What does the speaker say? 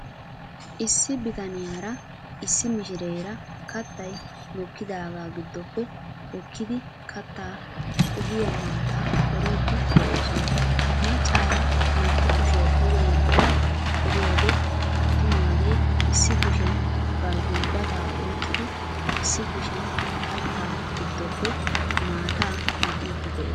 Issi bitaniyara issi meshireera kattay mokkidaagaa giddoppe hokkidi kattaa qohiya maataa qoriiddi de'oosona. Maccaara naa'u kushiya duge yeddada qoriyode attumaagee issi kushiyan bari gulbbataa oyqqidi issi kushiyan kattaa giddoppe maataa maxiiddi de'ees.